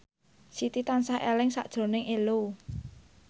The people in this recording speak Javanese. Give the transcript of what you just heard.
Siti tansah eling sakjroning Ello